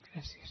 gràcies